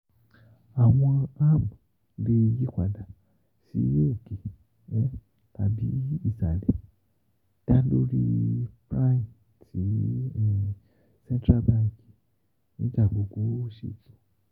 Awọn ARM le yipada si òkè tàbí um isalẹ da lori Prime tí central bank ń da gbogbo owó sí